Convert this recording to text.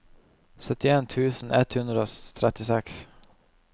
syttien tusen ett hundre og trettiseks